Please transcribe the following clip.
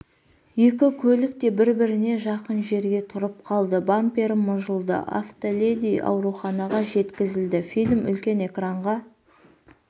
екі көлік те бір-біріне жақын жерге тұрып қалды бампері мыжылды автоледи ауруханаға жеткізілді фильм үлкен экранға